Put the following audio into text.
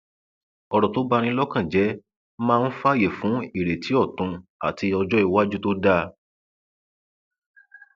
ọrọ tó bá ní lọkàn jẹ máa ń fààyè fún ìrètí ọtún àti ọjọ iwájú tó dáa